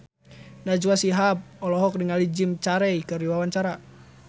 Najwa Shihab olohok ningali Jim Carey keur diwawancara